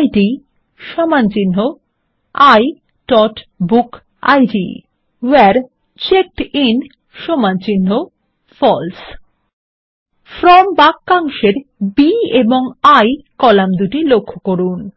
iবুকিড where checked in false from বাক্যাংশের B এবং I column দুটি লক্ষ্য করুন